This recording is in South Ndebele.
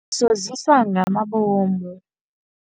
Usoziswa ngamabomu.